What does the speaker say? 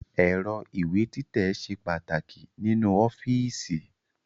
Ẹ̀rọ ìwé títẹ̀ ṣe pàtàkì nínú ọ́fíìsì